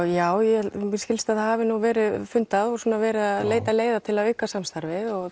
já mér skilst að það hafi verið fundað og verið að leita leiða til að auka samstarfið og